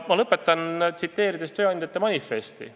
Ma lõpetan viidates tööandjate manifestile.